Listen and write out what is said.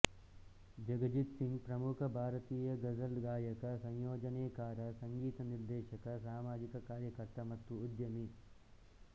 ಜಗಜಿತ್ ಸಿಂಗ್ ಪ್ರಮುಖ ಭಾರತೀಯ ಗಝಲ್ ಗಾಯಕ ಸಂಯೋಜನೆಕಾರ ಸಂಗೀತ ನಿರ್ದೇಶಕ ಸಾಮಾಜಿಕ ಕಾರ್ಯಕರ್ತ ಮತ್ತು ಉದ್ಯಮಿ